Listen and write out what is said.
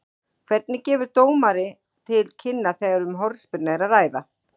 Hvernig gefur dómari til kynna þegar um hornspyrnu er að ræða?